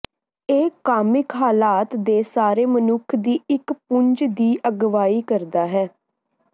ਇਹ ਕਾਮਿਕ ਹਾਲਾਤ ਦੇ ਸਾਰੇ ਮਨੁੱਖ ਦੀ ਇੱਕ ਪੁੰਜ ਦੀ ਅਗਵਾਈ ਕਰਦਾ ਹੈ